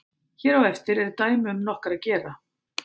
hér á eftir eru dæmi um nokkra gera